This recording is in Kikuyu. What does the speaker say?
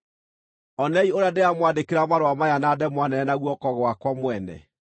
Onei ũrĩa ndĩramwandĩkĩra marũa maya na ndemwa nene na guoko gwakwa mwene!